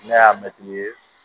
Ne y'a mɛtiri ye